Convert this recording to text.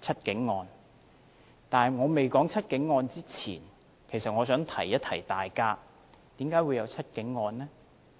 "七警案"，在我未說"七警案"前，我想提醒大家為何會有"七警案"呢？